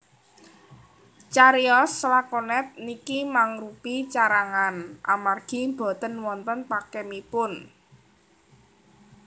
Cariyos lakonet niki mangrupi carangan amargi boten wonten pakemipun